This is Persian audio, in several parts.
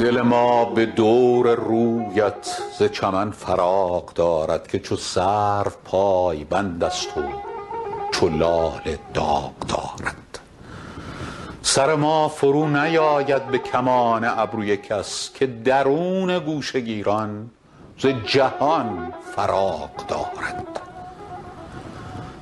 دل ما به دور رویت ز چمن فراغ دارد که چو سرو پایبند است و چو لاله داغ دارد سر ما فرونیآید به کمان ابروی کس که درون گوشه گیران ز جهان فراغ دارد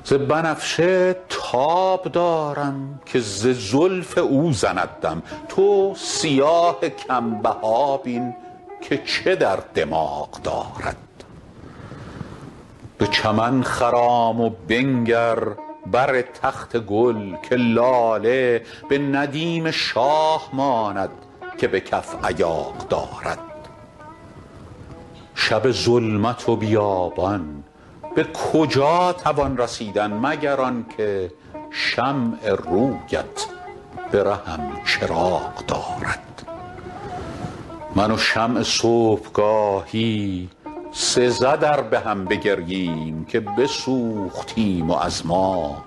ز بنفشه تاب دارم که ز زلف او زند دم تو سیاه کم بها بین که چه در دماغ دارد به چمن خرام و بنگر بر تخت گل که لاله به ندیم شاه ماند که به کف ایاغ دارد شب ظلمت و بیابان به کجا توان رسیدن مگر آن که شمع روی ات به رهم چراغ دارد من و شمع صبح گاهی سزد ار به هم بگرییم که بسوختیم و از ما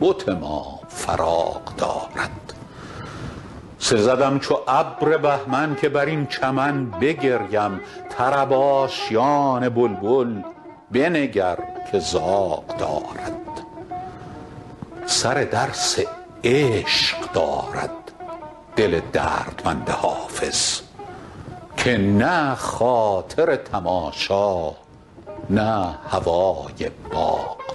بت ما فراغ دارد سزدم چو ابر بهمن که بر این چمن بگریم طرب آشیان بلبل بنگر که زاغ دارد سر درس عشق دارد دل دردمند حافظ که نه خاطر تماشا نه هوای باغ دارد